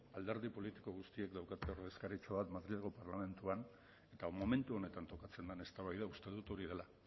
alderdi politiko guztiek daukate ordezkaritza bat madrilgo parlamentuan eta momentu honetan tokatzen den eztabaida uste dut hori dela